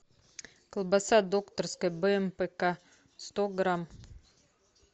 колбаса докторская бмпк сто грамм